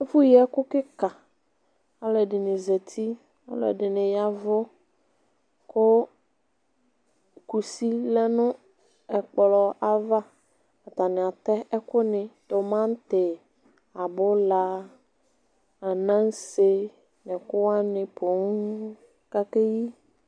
Ɛfu yi ɛku kika, alu ɛdini zeti, alu ɛdini yavu ku kusi lɛ nu ɛkplɔ aʋa Atani atɛ ɛku ni; tomati, abula, anase n'ɛku wani poo k'ake yɩ